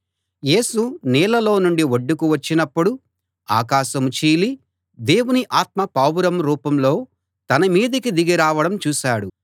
యేసు నీళ్లలో నుండి ఒడ్డుకు వచ్చినప్పుడు ఆకాశం చీలి దేవుని ఆత్మ పావురం రూపంలో తన మీదికి దిగి రావడం చూశాడు